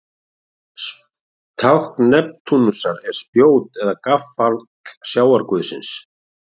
Tákn Neptúnusar er spjót eða gaffall sjávarguðsins.